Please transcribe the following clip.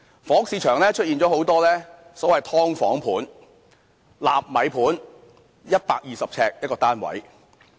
房屋市場出現了許多所謂"劏房盤"、"納米盤"，面積只有120平方呎的單位。